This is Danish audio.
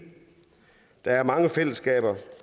der er mange fællesskaber